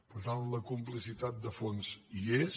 per tant la complicitat de fons hi és